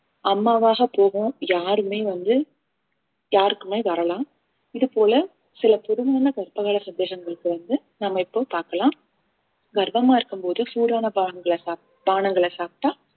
அம்மாவாக போகும் யாருமே வந்து யாருக்குமே வரலாம் இது போல சில பொதுவான கர்ப்பகாலங்க சந்தேகங்களுக்கு வந்து நாம இப்போ பார்க்கலாம் கர்ப்பமா இருக்கும்போது சூடான பாகங்களை சாப்~ பானங்களை சாப்பிட்டா